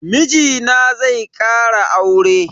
Mijina zai kara aure.